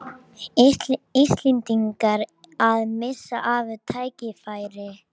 Sælaugur, ég kom með tíu húfur!